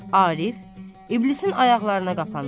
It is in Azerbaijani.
Arif İblisin ayaqlarına qapanır.